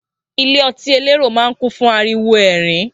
Ilé ọtí elérò máa ń kùn fún ariwo ẹ̀rín